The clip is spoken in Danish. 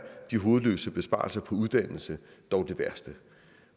de hovedløse besparelser på uddannelse dog de værste